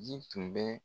Ji tun bɛ